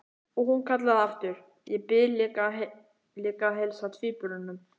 Og hún kallaði aftur: Ég bið líka að heilsa tvíburunum!